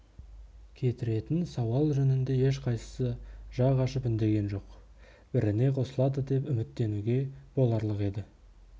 кетіретін сауал жөнінде ешқайсысы жақ ашып үндеген жоқ біріне қосылады деп үміттенуге боларлық еді